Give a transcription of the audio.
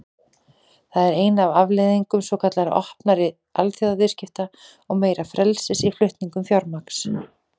Það er ein af afleiðingum svokallaðra opnari alþjóðaviðskipta og meira frelsis í flutningum fjármagns.